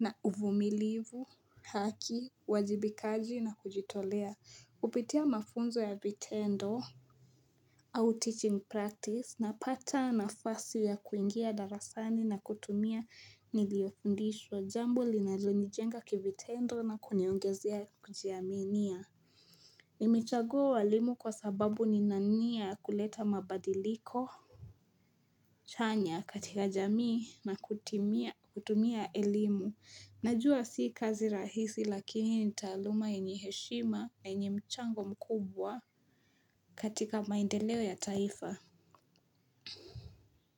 na uvumilivu, haki, uwajibikaji na kujitolea. Kupitia mafunzo ya vitendo au teaching practice napata nafasi ya kuingia darasani na kutumia niliyofundishwa, jambo linalonijenga kivitendo na kuniongezea kujiaminia Nimechagua ualimu kwa sababu nina nia ya kuleta mabadiliko chanya katika jamii na kutumia elimu. Najua si kazi rahisi lakini ni taaluma yenye heshima na yenye mchango mkubwa katika maendeleo ya taifa.